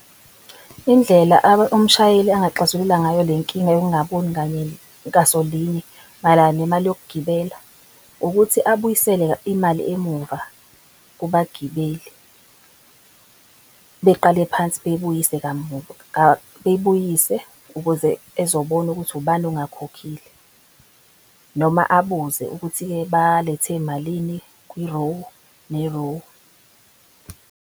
Indlela umshayeli angaxazulula ngayo le nkinga yokungaboni ngasolinye mayelana nemali yokugibela ukuthi abuyisele imali emuva kubagibeli. Beqale phansi beyibuyise ukuze ezobona ukuthi ubani ongakhokhile noma abuze ukuthi ke balethe malini kwirowu nerowu.